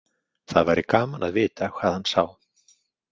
Það væri gaman að vita hvað hann sá.